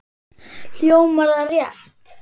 Hljómar það rétt?